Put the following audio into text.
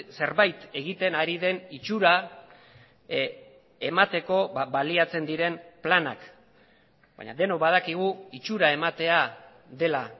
zerbait egiten ari den itxura emateko baliatzen diren planak baina denok badakigu itxura ematea dela